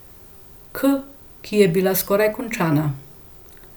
K, ki je bila skoraj končana.